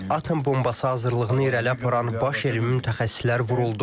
Atom bombası hazırlığını irəli aparan baş elmi mütəxəssislər vuruldu.